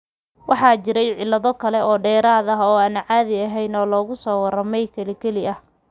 Waxaa jiray cillado kale, oo dheeraad ah oo aan caadi ahayn oo lagu soo warramey keli keli ah.